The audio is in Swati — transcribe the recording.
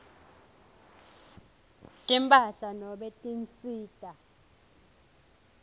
timphahla nobe tinsita